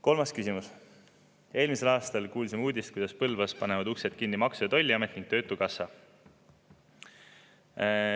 Kolmas küsimus: "Eelmisel aastal kuulsime uudist, kuidas Põlvas panevad uksed kinni Maksu- ja Tolliamet ning töötukassa.